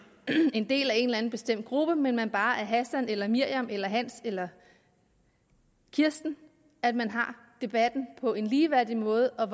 en del af en eller anden bestemt gruppe men at man bare er hassan eller miriam eller hans eller kirsten at man har debatten på en ligeværdig måde og